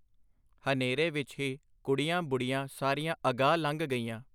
ਹਨੇਰੇ ਵਿੱਚ ਹੀ ਕੁੜੀਆਂ ਬੁੜ੍ਹੀਆਂ ਸਾਰੀਆਂ ਅਗਾਂਹ ਲੰਘ ਗਈਆਂ.